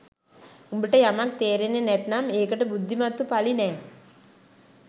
උඹට යමක් තේරෙන්නේ නැත්නම් ඒකට බුද්ධිමත්තු පළි නෑ